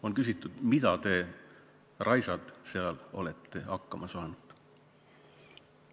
On küsitud, millega te, raisad, seal olete hakkama saanud.